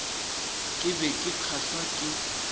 ke be ke kgahlwa ke